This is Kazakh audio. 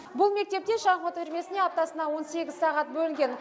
бұл мектепте шахмат үйірмесіне аптасына он сегіз сағат бөлінген